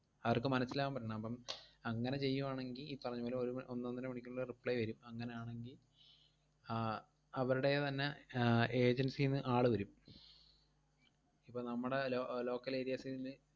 അവർക്ക് മനസ്സിലാവാൻ പറ്റണം. അപ്പം അങ്ങനെ ചെയ്യുവാണെങ്കി, ഈ പറഞ്ഞ പോലെ ഒരു മ~ ഒന്നൊന്നര മണിക്കൂറിനുള്ളിൽ reply വരും. അങ്ങനാണെങ്കി ആഹ് അവരടേന്ന് തന്നെ ആഹ് agency ന്ന് ആള് വരും. ഇപ്പം നമ്മടെ lo~ local areas ല്,